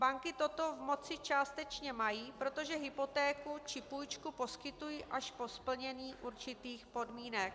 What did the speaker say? Banky toto v moci částečně mají, protože hypotéku či půjčku poskytují až po splnění určitých podmínek.